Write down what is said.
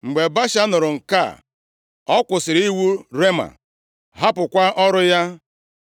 Mgbe Baasha nụrụ nke a, ọ kwụsịrị iwu Rema, hapụkwa ọrụ ya.